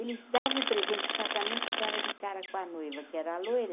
Eles davam o presente de casamento e dava de cara com a noiva, que era loira.